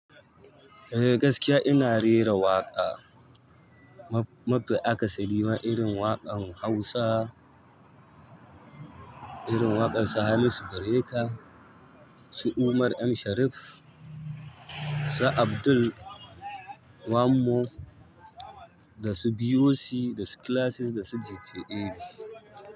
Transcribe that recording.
Eh gaskiya ina rera waƙa. Mab-mafi akasari wa irin waƙan Hausa, irin waƙar su Hamisu Breaker, su Umar M Sharif, su Abdul Wan mo da su BOC da su Classic da su DJT AB.